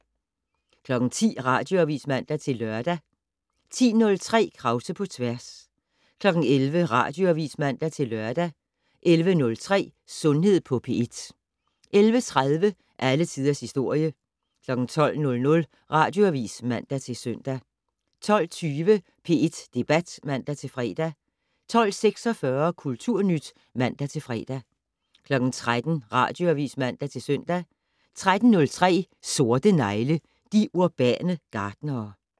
10:00: Radioavis (man-lør) 10:03: Krause på tværs 11:00: Radioavis (man-lør) 11:03: Sundhed på P1 11:30: Alle Tiders Historie 12:00: Radioavis (man-søn) 12:20: P1 Debat (man-fre) 12:46: Kulturnyt (man-fre) 13:00: Radioavis (man-søn) 13:03: Sorte negle: De urbane gartnere